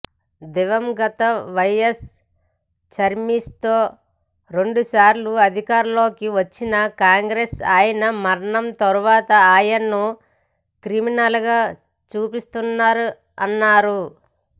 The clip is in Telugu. దివంగత వైయస్ చరిష్మాతో రెండుసార్లు అధికారంలోకి వచ్చిన కాంగ్రెసు ఆయన మరణం తర్వాత ఆయనను క్రిమినల్గా చూపిస్తున్నారన్నారు